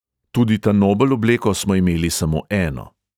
Tudi ta nobel obleko smo imeli samo eno.